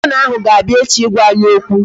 Gọvanọ ahụ ga-abia echi ịgwa anyị okwu